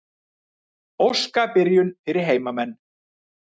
Óska byrjun fyrir heimamenn.